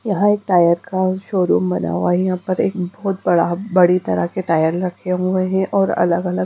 यहां एक टायर का शोरूम बना हुआ है यहां पर एक बहुत बड़ा बड़ी तरह के टायर रखे हुए हैं और अलग अलग--